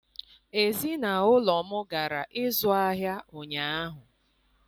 Ezinụlọ m gara ịzụ ahịa ụnyaahụ